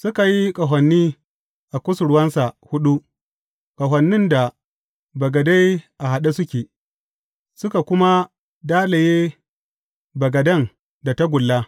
Suka yi ƙahoni a kusurwansa huɗu, ƙahonin da bagade a haɗe suke, suka kuma dalaye bagaden da tagulla.